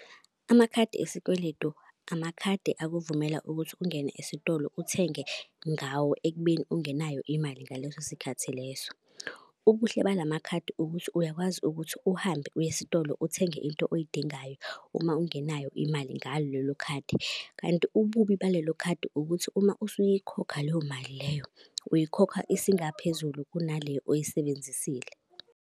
Amakhadi esikweletu amakhadi akuvumela ukuthi ungene esitolo uthenge ngawo ekubeni ungenayo imali ngaleso sikhathi leso. Ubuhle bala makhadi ukuthi uyakwazi ukuthi uhambe uyesitolo uthenge into oyidingayo uma ungenayo imali ngalo lelo khadi. Kanti ububi balelo khadi ukuthi uma usuyikhokha leyo mali leyo, uyikhokha isingaphezulu kunale oyisebenzisile.